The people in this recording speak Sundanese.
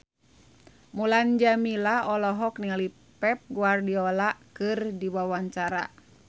Mulan Jameela olohok ningali Pep Guardiola keur diwawancara